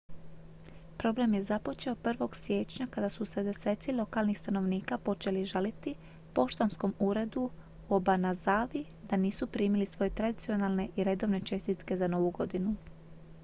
problem je započeo 1. siječnja kada su se deseci lokalnih stanovnika počeli žaliti poštanskom uredu u obanazawi da nisu primili svoje tradicionalne i redovne čestitke za novu godinu